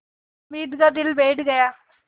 हामिद का दिल बैठ गया